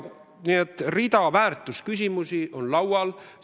Nii et rida väärtusküsimusi on laual.